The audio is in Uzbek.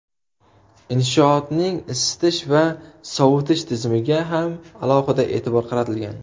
Inshootning isitish va sovutish tizimiga ham alohida e’tibor qaratilgan.